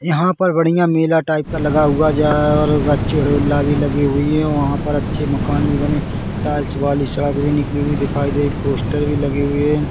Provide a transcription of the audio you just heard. यहाँ पर बढ़िया मेला टाइप का लगा हुआ है और घ्वाचे उड़हूला भी लगी हुई हैं वहाँ पर अच्छे मकान भी बने टाइल्स वाली सड़क भी निकली हुई दिखाई दे पोस्टर भी लगे हुए हैं।